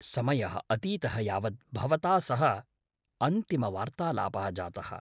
समयः अतीतः यावत् भवता सह अन्तिमवार्तालापः जातः।